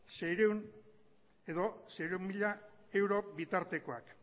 seiehun mila euro bitartekoak